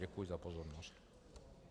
Děkuji za pozornost.